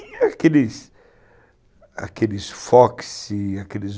E aqueles Foxy, aqueles